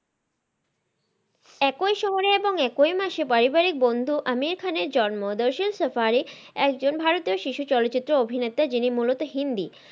একই শহরে এবং একই মাসে পারিবারিক বন্ধু আমির খানের জন্ম দইসিল সেফারি একজন ভারতীয় শিশু চলচিত্রে অভিনেতা যিনি মুলত হিন্দি,